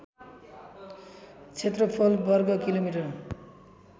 क्षेत्रफल वर्ग किलोमिटर